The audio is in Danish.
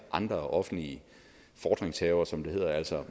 andre offentlige fordringshavere som det hedder altså